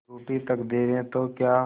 रूठी तकदीरें तो क्या